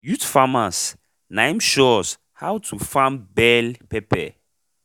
youth farmers naim show us how to farm bell pepper